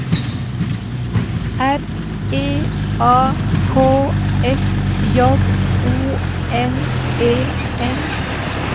R E A K S J O N E N